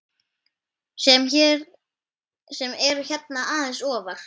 sem eru hérna aðeins ofar.